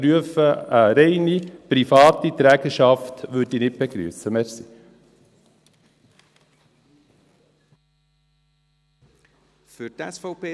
«Ich prüfe eine reine private Trägerschaft», würde ich nicht begrüssen.